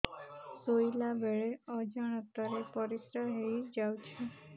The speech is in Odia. ଶୋଇଲା ବେଳେ ଅଜାଣତ ରେ ପରିସ୍ରା ହେଇଯାଉଛି